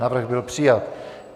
Návrh byl přijat.